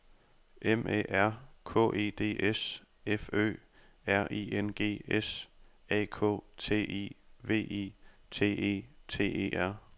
M A R K E D S F Ø R I N G S A K T I V I T E T E R